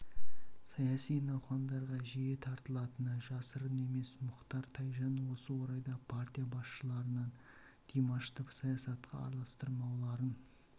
саяси науқандарға жиі тартылатыны жасырын емес мұхтар тайжан осы орайда партия басшыларынан димашты саясатқа аралстырмауларын